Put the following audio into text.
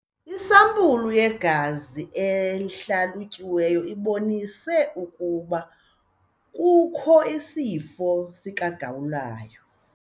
Isampulu yegazi ehlalutyiweyo ibonise ubukho besifo sikagawulayo.